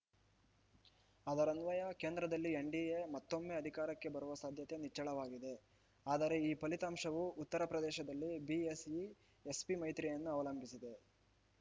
ಅದರನ್ವಯ ಕೇಂದ್ರದಲ್ಲಿ ಎನ್‌ಡಿಎ ಮತ್ತೊಮ್ಮೆ ಅಧಿಕಾರಕ್ಕೆ ಬರುವ ಸಾಧ್ಯತೆ ನಿಚ್ಚಳವಾಗಿದೆ ಆದರೆ ಈ ಫಲಿತಾಂಶವು ಉತ್ತರಪ್ರದೇಶದಲ್ಲಿ ಬಿಎಸ್‌ಯು ಎಸ್‌ಪಿ ಮೈತ್ರಿಯನ್ನು ಅವಲಂಬಿಸಿದೆ